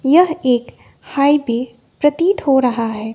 यह एक हाइवे प्रतीत हो रहा है।